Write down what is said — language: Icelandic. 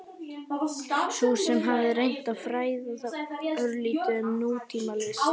Sú sem hafði reynt að fræða þá örlítið um nútímalist?